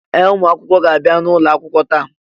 Ee! Ụmụ akwụkwọ ga-abịa n'ụlọ akwụkwọ taa.